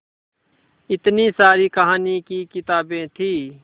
इतनी सारी कहानी की किताबें थीं